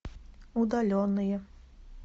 удаленные